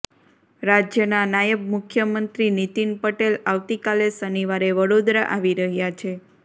રાજ્યના નાયબ મુખ્યમંત્રી નીતિન પટેલ આવતી કાલે શનિવારે વડોદરા આવી રહ્યાં છે